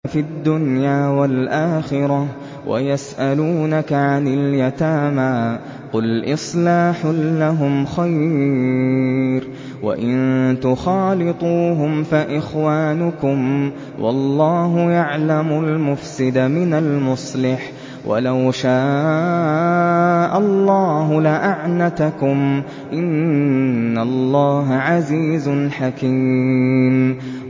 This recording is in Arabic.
فِي الدُّنْيَا وَالْآخِرَةِ ۗ وَيَسْأَلُونَكَ عَنِ الْيَتَامَىٰ ۖ قُلْ إِصْلَاحٌ لَّهُمْ خَيْرٌ ۖ وَإِن تُخَالِطُوهُمْ فَإِخْوَانُكُمْ ۚ وَاللَّهُ يَعْلَمُ الْمُفْسِدَ مِنَ الْمُصْلِحِ ۚ وَلَوْ شَاءَ اللَّهُ لَأَعْنَتَكُمْ ۚ إِنَّ اللَّهَ عَزِيزٌ حَكِيمٌ